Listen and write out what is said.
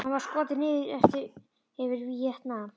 Hann var skotinn niður yfir Víetnam.